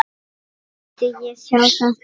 Vildi ég sjá þetta?